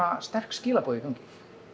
sterk skilaboð í gangi